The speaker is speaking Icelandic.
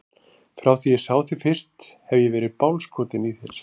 Frá því að ég sá þig fyrst hef ég verið bálskotinn í þér.